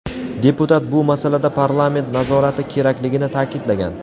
Deputat bu masalada parlament nazorati kerakligini ta’kidlagan.